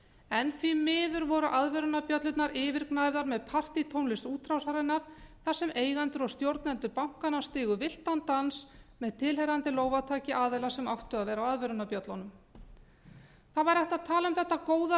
en því miður voru aðvörunarbjöllurnar yfirgnæfðar með partítónlist útrásarinnar þar sem eigendur og stjórnendur bankanna stigu villtan dans með tilheyrandi lófataki aðila sem áttu að vera á viðvörunarbjöllunum það væri hægt að tala um þetta góða